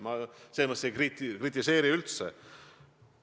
Ma selles mõttes ei kritiseeri sellist praktikat üldse.